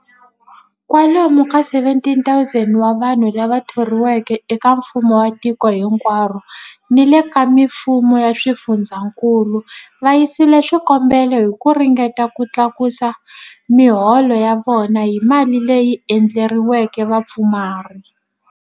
Kwalomu ka 17,000 wa vanhu lava thoriweke eka mfumo wa tiko hinkwaro ni le ka mifumo ya swifundzankulu va yisile swikombelo hi ku ringeta ku tlakusa miholo ya vona hi mali leyi endleriweke vapfumari.